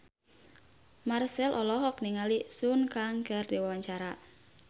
Marchell olohok ningali Sun Kang keur diwawancara